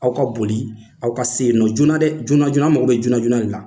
Aw ka boli aw ka sen yen nɔ joona dɛ! joona joona anw mago bɛ joona de la.